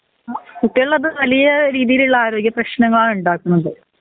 കുട്ടിക്കള്ളത് വലിയ രീതിയില്ള്ള ആരോഗ്യ പ്രേശ്നങ്ങളാണ് ഇണ്ടാകുന്നത്